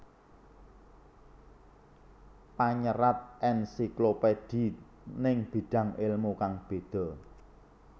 Panyerat Ensiklopedi ning bidang ilmu kang beda